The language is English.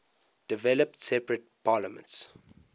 developed separate parliaments